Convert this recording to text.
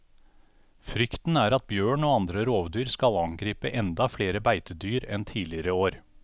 Frykten er at bjørn og andre rovdyr skal angripe enda flere beitedyr enn tidligere år.